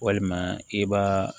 Walima i b'a